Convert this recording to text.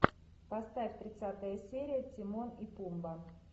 поставь тридцатая серия тимон и пумба